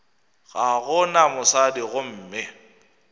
ga go na mosadi gomme